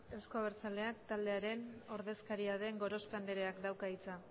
euzko abertzaleak taldearen ordezkaria den gorospe andreak dauka hitza